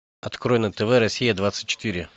открой на тв россия двадцать четыре